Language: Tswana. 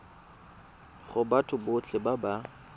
go batho botlhe ba ba